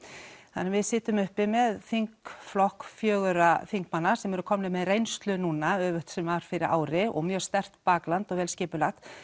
þannig við sitjum uppi með þingflokk fjögurra þingmanna sem eru komnir með reynslu núna öfugt sem var fyrir ári og mjög sterkt bakland og vel skipulagt